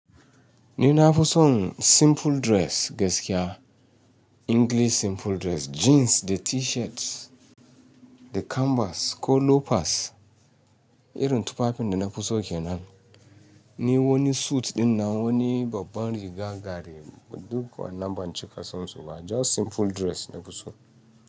Ni na fi son simple dress gaskiya, English simple dress, jeans da T-shirt, da canvas ko loafers. Irin tufafin da na fi so kenan. Ni wani suit ɗin na wani babban riga gari, duk wannan ban ci kasansu ba, just simple dress nafi so.